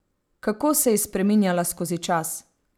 Kako se je spreminjala skozi čas?